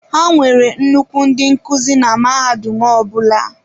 Ha nwere nnukwu ndị nkuzi na mahadum ọ bụla.